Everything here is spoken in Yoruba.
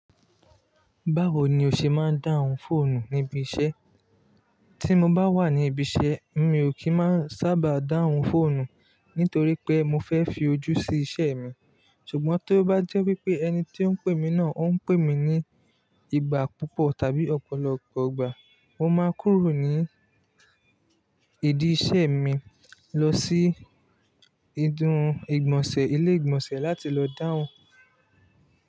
Báwo ni o ṣe máa ń dáhùn fóònù níbi iṣẹ́? Tí mo bá wà ní ibi iṣẹ́, mi ò kí n má n sábà dáhùn fóònù nítorí pé mo fẹ́ fi ojú sí iṣẹ́ mi. Ṣùgbọ́n tí ó bá jẹ́ wípé ẹni tí ó ń pè mí náà ó ń pè mí ní ìgbà púpọ̀ tàbí ọ̀pọ̀lọpọ̀ ìgbà, mo máa kúrò ní idi iṣẹ́ mi lọ sí ìdún ìgbọ̀nsẹ̀ ilé ìgbọ̀nsẹ̀ láti lọ dáhùn.